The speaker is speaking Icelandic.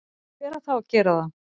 hver á þá að gera það?